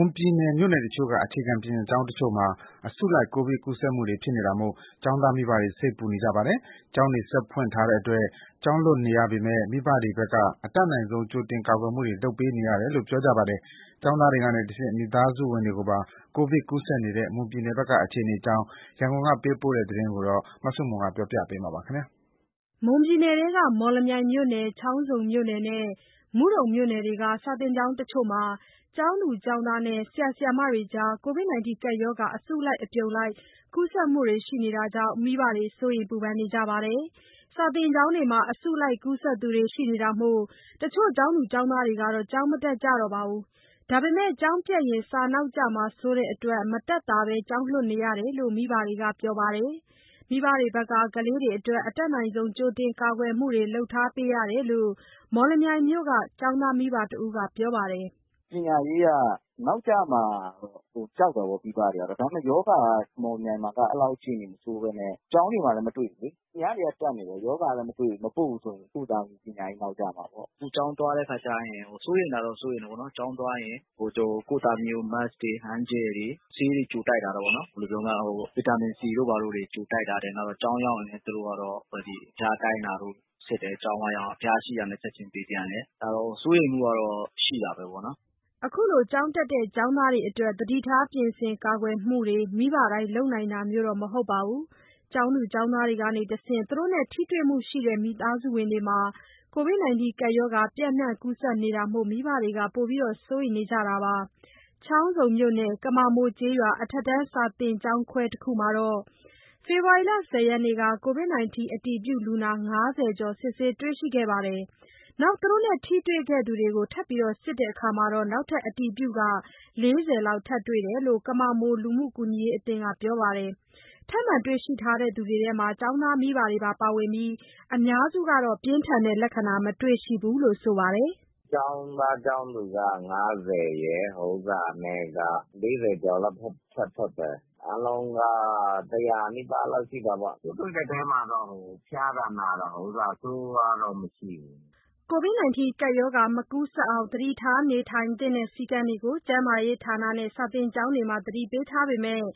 န်ပြည်နယ် မြို့နယ်တချို့က အခြေခံပညာကျောင်းတချို့မှာ အစုလိုက် ကိုဗစ်ကူးစက်နေတာမို့ ကျောင်းသားမိဘတွေ စိတ်ပူနေကြပါတယ်။ ကျောင်းတွေ ဆက်ဖွင့်ထားတဲ့အတွက် ကျောင်းလွှတ်နေရပေမယ့် မိဘတွေဘက်က အတတ်နိုင်ဆုံး ကြိုတင်ကာကွယ်မှုတွေ လုပ်ပေးနေရတယ်လို့ ပြောကြပါတယ်။ ကျောင်းသားတွေကနေတဆင့် မိသားစုဝင်တွေပါ ကိုဗစ်ကူးစက်နေတဲ့ မွန်ပြည်နယ်ဘက်က အခြေအနေအကြောင်း ရန်ကုန်ကပေးပို့တဲ့သတင်းကို မဆုမွန်က တင်ပြပေးထားပါတယ်။ မွန်ပြည်နယ်ထဲက မော်လမြိုင်မြို့နယ်၊ ချောင်းဆုံမြို့နယ်နဲ့ မုဒုံမြို့နယ်တွေက တချို့ စာသင်ကျောင်းတွေမှာ ကျောင်းသူ ကျောင်းသားနဲ့ ဆရာ ဆရာမတွေကြား ကိုဗစ်ကပ်ရောဂါ အစုလိုက် အပြုံလိုက် ကူးစက်နေတာကြောင့် မိဘတွေ စိုးရိမ်ပူပန်နေကြပါတယ်။ ကျောင်းတွေမှာ အစုလိုက် ကူးစက်သူတွေရှိနေတာမို့ တချို့ ကျောင်းသူ ကျောင်းသားတွေကတော့ ကျောင်းမတက်ကြပါဘူး။ ဒါပေမယ့် ကျောင်းပျက်ရင် စာနောက်ကျမှာစိုးတဲ့အတွက် မတတ်သာဘဲ ကျောင်းလွှတ် နေရတယ်လို့ မိဘတွေက ပြောပါတယ်။ မိဘတွေဘက်က ကလေးတွေအတွက် အတတ်နိုင်ဆုံး ကြိုတင် ကာကွယ်မှုတွေ လုပ်ပေးထားရတယ်လို့ မော်လမြိုင်မြို့က ကျောင်းသားမိဘတဦးက ပြောပါတယ်။ “မိဘတွေကတော့ ပညာရေး နောက်ကျမှာကို ကြောက်တာပေါ့။ ဒါပေမယ့် မော်လမြိုင်မှာက အဲ့လောက်အခြေအနေမဆိုးဘဲနဲ့ ကျောင်းတွေမှာလည်း မတွေ့ဘူးလေ။ သူများတွေက တက်နေတယ်။ ရောဂါလည်း မတွေ့ဘူး၊ မပို့ဘူးဆိုရင် ကိုယ့်သားသမီး ပညာရေးနောက်ကျမှာပေါ့။ အခုကျောင်းသွားတဲ့အခါကျရင် စိုးရိမ်တာတော့ စိုးရိမ်တာပေါ့နော်။ ကျောင်းသွားရင် ကိုယ့် သားသမီးကို Mask တွေ၊ hand gel တွေ၊ ဆေးတွေ ကြိုတိုက်ထားတာပေါ့နော်။ ဘယ်လိုပြောမလဲ။ ဗီတာမင် C တို့ ဘာတို့တွေ ကြိုတိုက်ထားတယ်။ နောက်တော့ ကျောင်းရောက်ရင်လည်း သူတို့ကတော့ အဖျားတိုင်းတာတို့...စစ်တယ်။ ကျောင်းဝရောက်ရင် အဖျားရှိတာနဲ့ ချက်ချင်းပေးပြန်တယ်။ ဒါတော့ စိုးရိမ်မှုကတော့ ရှိတာပဲပေါ့နော်။” အခုလို ကျောင်းတက်တဲ့ ကျောင်းသားတွေအတွက် သတိထားပြင်ဆင်ကာကွယ်မှုတွေ မိဘတိုင်းလုပ်နိုင်တာမျိုးတော့ မဟုတ်ပါဘူး။ ကျောင်းသား ကျောင်းသူတွေကတဆင့် သူတို့နဲ့ ထိတွေ့မှုရှိတဲ့ မိသားစုဝင်တွေမှာ ကိုဗစ်ကပ်ရောဂါ ပျံ့နှံ့ကူးစက်နေတာမို့ မိဘတွေ ပိုပြီးစိုးရိမ်နေကြပါတယ်။ ချောင်းဆုံမြို့နယ် ကမာမိုကျေးရွာ အထက်တန်း စာသင်ကျောင်းခွဲတခုမှာ ဖေဖော်ဝါရီ ၁၀ ရက်နေ့က ကိုဗစ်အတည်ပြုလူနာ ၅၀ ကျော်တွေ စစ်ဆေးတွေ့ခဲ့ပြီး သူတို့နဲ့ ထိတွေ့သူတွေကို ထပ်မံစစ်ခဲ့တာမှာ နောက်ထပ် အတည်ပြု ၄၀ လောက် ထပ်တွေ့တယ်လို့ ကမာမိုလူမှုကူညီရေးအသင်းက ပြောပါတယ်။ ထပ်မံတွေ့ရှိထားသူတွေထဲမှာ ကျောင်းသားမိသားစုဝင်တွေပါ ပါဝင်ပြီး အများစုက ပြင်းထန်တဲ့ လဏ္ခာမတွေ့ရှိဘူးလို့ ဆိုပါတယ်။ “ကျောင်းသား၊ ကျောင်းသူက ၅၀ ရယ်၊ (ထိတွေ့မှုကနေ ကူးစက်သူ) ၄၀ ကျော်လောက်က ထပ်ထွက်တယ်။ အားလုံးက ၁၀၀ နီးပါးလောက်ရှိတာပေါ့။ ပိုးတွေ့တဲ့အထဲမှာတော့ ဖျားတာ နာတာ ဆိုးဝါးတော့ မရှိဘူး။” ကိုဗစ်ကပ်ရောဂါမကူးစက်အောင် သတိထားနေထိုင်သင့်တဲ့ စည်းကမ်းတွေကို ကျန်းမာရေးဌာနနဲ့ ကျောင်းတွေမှာ သတိပေးထားပေမယ့်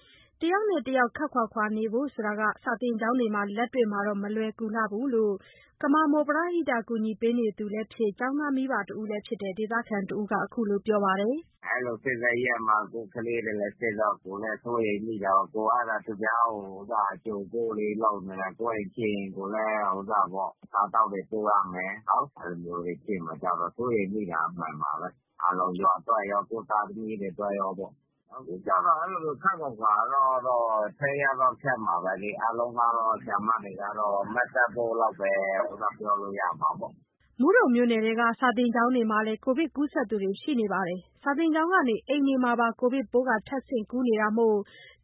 တယောက်နဲ့ တယောက် ခပ်ခွာခွာနေဖို့က ကျောင်းတွေမှာက လက်တွေ့လုပ်တဲ့အခါ မလွယ်လှဘူးလို့ ကမာမိုက ပရဟိတကူညီပေးသူလည်းဖြစ် ကျောင်းသားမိဘလည်းဖြစ်တဲ့ ဒေသခံတဦးက အခုလို ပြောပါတယ်။ “အဲ့လို ဖြစ်တဲ့ရက်မှာ ကိုယ့်ကလေးတွေလည်း ရှိတယ်တော့ ကိုယ်လည်း စိုးရိမ်မိတာပေါ့။ ကိုယ် ကသာ သူများကို (လူနာ) အကြိုအပို့တွေ လုပ်နေတယ်။ ကိုယ့်အိမ်ဖြစ်ရင် ကိုယ်လည်း အစားအသောက်တွေ ပို့ရမယ် ဟုတ်။ အဲ့လိုမျိုးတွေ ဖြစ်မှာကြောက်တော့ စိုးရိမ်မိတာအမှန်ပါပဲ။ အားလုံးရွာအတွက်ရော ကိုယ့်သားသမီးတွေအတွက်ရောပေ့ါ။ အခုကျတော့ အဲ့လိုတော့ (ကျောင်းမှာ) ခပ်ခွာခွာနေတာကတော့ ထိန်းရတော့ ခက်မှာပဲလေ။ အားလုံးကတော့ ဆရာမတွေကတော့ Mask တပ်ဖို့ လောက်ပဲ ပြောလို့ရမှာပေ့ါ။” မုဒုံမြို့နယ်က စာသင်ကျောင်းတွေမှာလည်း ကိုဗစ်ကူးစက်သူတွေ ရှိနေပါတယ်။ ကျောင်းကနေ အိမ်မှာပါ ကိုဗစ်ပိုး ထပ်ဆင့်ကူးနေတာမို့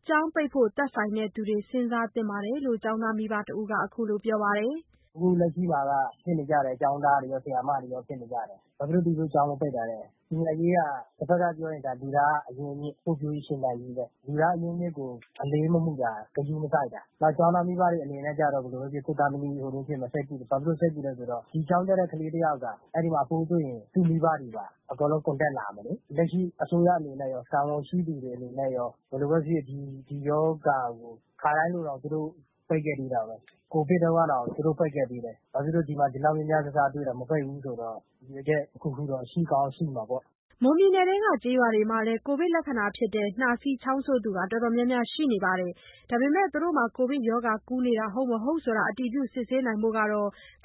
ကျောင်းပိတ်ဖို့ သက်ဆိုင်သူတွေ စဉ်းစားသင့်တယ်လို့ ကျောင်းသားမိဘတယောက်က ခုလိုပြောပါတယ်။ “အခုလက်ရှိမှာက ဖြစ်နေကြတယ်။ ကျောင်းသားတွေရော ဆရာမတွေရော ဖြစ်နေတယ်။ ဘာဖြစ်လို့ သူတို့ကျောင်းမပိတ်တာလဲ။ ပညာရေးက တဘက်ကပြောရင် ဒါ လူသားအရင်းအမြစ် ဖွံ့ဖြိုးရေး ရှင်သန်ရေးပဲ။ လူသားအရင်းအမြစ်ကို အလေးမမူတာ၊ ဂရုမစိုက်တာ၊ နောက်ကျောင်းသားမိဘတွေ အနေနဲ့ကျတော့ ဘယ်လိုပဲဖြစ်ဖြစ် ကိုယ့်သားသမီး (ရောဂါကူးစက်မှာ) စိတ်ပူတယ်။ ဘာဖြစ်လို့စိတ်ပူလဲဆိုတော့ ဒီကျောင်းတက်တဲ့ ကလေးတယောက်က အဲ့ဒီမှာ ပိုးတွေ့ရင် သူ့မိဘတွေပါ အကုန်လုံး contact လာမယ်လေ။ လက်ရှိ အစိုးရအနေနဲ့ရော တာဝန်ရှိသူအနေနဲ့ရော ဘယ်လိုပဲဖြစ်ဖြစ် ဒီရောဂါကို အခါတိုင်းလိုတောင် သူတို့ ပိတ်ခဲ့သေးတာပဲ။ ကိုဗစ်တုန်းကတောင် သူတို့ပိတ်ခဲ့ပေးတယ်။ ဘာဖြစ်လို့ ဒီမှာ ဒီလောက်များများ စားစားတွေ့ တာ မပိတ်ဘူးဆိုတော့ ရည်ရွယ်ချက်တခုခုတော့ ရှိကောင်းရှိမှာပေါ့။” မွန်ပြည်နယ်ထဲက ကျေးရွာတွေမှာလည်း ကိုဗစ်လက္ခဏာဖြစ်တဲ့ ချောင်းဆိုး နှာဈေးတဲ့သူ တော်တော်များများရှိနေပါတယ်။ ဒါပေမယ့် ကိုဗစ်ရောဂါ ဟုတ် မဟုတ် အတည်ပြုစစ်ဆေးနိုင် ဖို့ ခ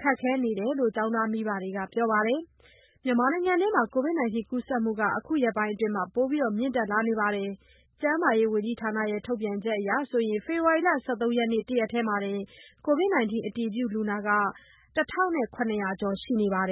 က်ခဲနေသူတွေလည်း ရှိနေတယ်လို့ ကျောင်းသားမိဘတွေက ပြောကြပါတယ်။ မြန်မာနိုင်ငံမှာ ကိုဗစ်ကူးစက်မှုတွေ အခုရက်ပိုင်းအတွင်း ပိုမိုမြင့်တက်လာနေပါတယ်။ ကျန်းမာရေးဝန်ကြီးဌာနရဲ့ ထုတ်ပြန်ချက်အရ ဖေဖော်ဝါရီလ ၁၃ ရက်နေ့ တရက်တည်းမှာတင် ကိုဗစ်အတည်ပြုလူနာ ၁,၇၀၀ ကျော်ရှိခဲ့ပါတယ်